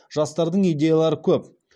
жастардың идеялары көп